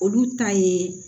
Olu ta ye